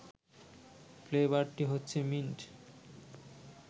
ফ্লেবারটি হচ্ছে মিন্ট